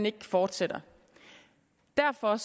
ikke fortsætter derfor